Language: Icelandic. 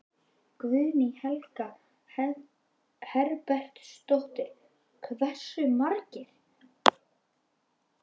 Guðný Helga Herbertsdóttir: Hversu margir?